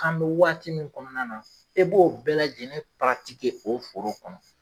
K'an bɛ waati min kɔnɔna na e b'o bɛɛ lajɛlen o foro kɔnɔ.